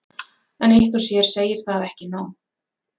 En eitt og sér segir það ekki nóg.